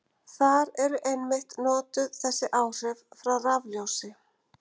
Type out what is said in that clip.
Þar eru einmitt notuð þessi áhrif frá rafljósi.